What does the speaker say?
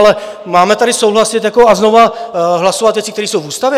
Ale máme tady souhlasit a znovu hlasovat věci, které jsou v ústavě?